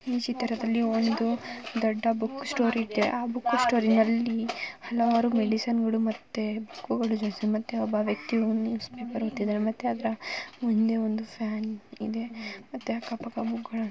ಈ ಚಿತ್ರದಲ್ಲಿ ಒಂದು ದೊಡ್ಡ ಬುಕ್‌ ಸ್ಟೋರ್‌ ಇದೆ ಆ ಬುಕ್‌ ಸ್ಟೋರ್‌ ನಲ್ಲಿ ಹಲವಾರು ಮೆಡಿಸಿನ್‌ ಗಳು ಮತ್ತು ಬುಕ್‌ ಗಳು ಸಿಗುತ್ತವೆ ಒಬ್ಬ ವ್ಯಕ್ತಿಯು ಸುಮ್ಮನೆ ಬರೆಯುತ್ತಿದ್ದಾರೆ ಮುಂದೆ ಒಂದು ಫ್ಯಾನ್‌ ಇದೆ ಮತ್ತೆ ಅಕ್ಕಪಕ್ಕ ಬುಕ್‌ ಗಳಿವೆ.